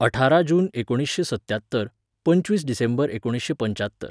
अठारा जून एकोणिशें सत्यात्तर, पंचवीस डिसेंबर एकोणिशें पंच्यात्तर